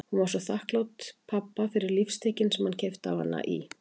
Hún var svo þakklát pabba fyrir lífstykkin sem hann keypti á hana í